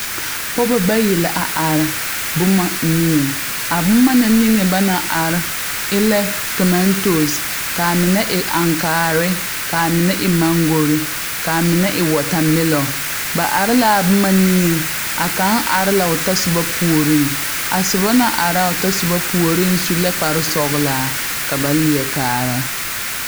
Pɔge bayi la a are boma niŋeŋ a boma na niŋe ba naŋ are e lɛ toomantoosi kaa mine e aŋkaare kaa mine e mangori kaa mine e wɔɔta melɔ ba are la a boma niŋeŋ a kaŋ are la o tasoba puoriŋ a soba na are a o tasoba puoriŋ su la kpare sɔglaa ka ba leɛ kaara